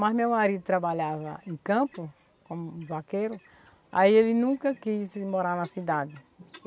Na tê-vê de São Francisco.